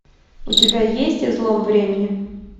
у тебя есть излом времени